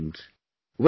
God has been kind